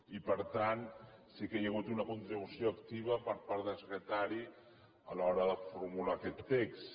i per tant sí que hi ha hagut una contribució activa per part del secretari a l’hora de formular aquest text